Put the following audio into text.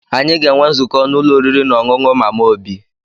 Anyị ga-enwe nzukọ n'ụlọ oriri na ọṅụṅụ Mama Obi